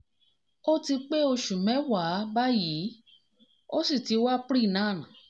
ó ti pé ọ̀sẹ̀ mẹ́wàá báyìí ó sì ti wa pre nan